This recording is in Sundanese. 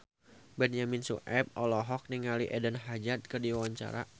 Benyamin Sueb olohok ningali Eden Hazard keur diwawancara